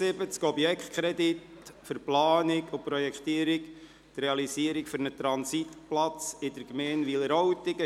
«Objektkredit für die Planung, die Projektierung und die Realisierung eines Transitplatzes in der Gemeinde Wileroltigen.